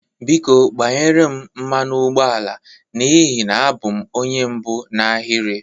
Biko gbanyere m mmanụ ụgbọ ala n'ihi na abụ m onye mbụ n'ahịrị.